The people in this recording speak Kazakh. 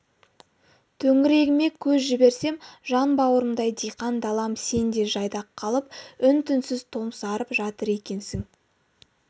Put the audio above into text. төңірегіме көз жіберсем жан бауырымдай диқан далам сен де жайдақ қалып үн-түнсіз томсарып жатыр екенсің